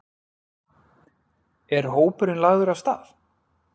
Er hópurinn lagður af stað?